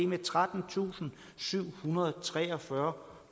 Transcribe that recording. med trettentusinde og syvhundrede og treogfyrre